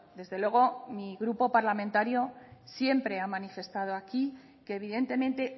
desde luego mi grupo parlamentario siempre ha manifestado aquí que evidentemente